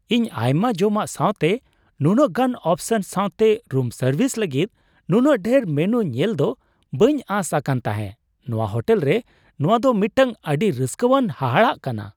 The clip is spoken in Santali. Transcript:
ᱤᱧ ᱟᱭᱢᱟ ᱡᱚᱢᱟᱜ ᱥᱟᱣᱛᱮ ᱱᱩᱱᱟᱹᱜ ᱜᱟᱱ ᱚᱯᱥᱚᱱ ᱥᱟᱣᱛᱮ ᱨᱩᱢ ᱥᱟᱨᱵᱷᱤᱥ ᱞᱟᱹᱜᱤᱫ ᱱᱩᱱᱟᱹᱜ ᱰᱷᱮᱨ ᱢᱮᱱᱩ ᱧᱮᱞᱫᱚ ᱵᱟᱹᱧ ᱟᱸᱥ ᱟᱠᱟᱱ ᱛᱟᱦᱮᱸ ᱾ ᱱᱚᱶᱟ ᱦᱳᱴᱮᱞ ᱨᱮ ᱱᱚᱶᱟ ᱫᱚ ᱢᱤᱫᱴᱟᱝ ᱟᱹᱰᱤ ᱨᱟᱹᱥᱠᱟᱹᱣᱟᱱ ᱦᱟᱦᱟᱲᱟᱜ ᱠᱟᱱᱟ ᱾